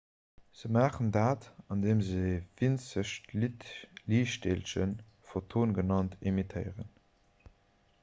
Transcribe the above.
se maachen dat andeem se e winzegt liichtdeelchen photon genannt emittéieren